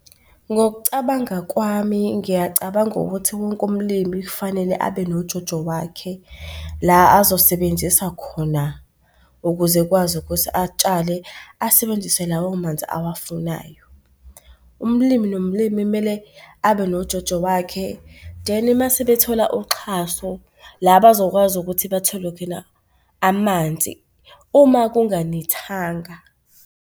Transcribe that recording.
Ngokucabanga kwami ngiyacabanga ukuthi wonke umlimi kufanele abe nojojo wakhe la azosebenzisa khona ukuze ekwazi ukuthi atshale asebenzise lawo manzi awafunayo. Umlimi nomlimi mele abe nojojo wakhe then mase bethola uxhaso, la bazokwazi ukuthi bathole khona amanzi uma kunganethanga.